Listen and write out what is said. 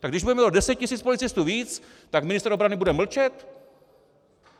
Tak když budeme mít o deset tisíc policistů víc, tak ministr obrany bude mlčet?